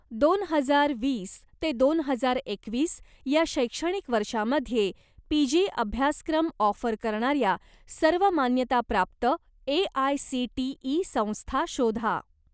दोन हजार वीस ते दोन हजार एकवीस या शैक्षणिक वर्षामध्ये पीजी अभ्यासक्रम ऑफर करणाऱ्या सर्व मान्यताप्राप्त ए.आय.सी.टी.ई. संस्था शोधा.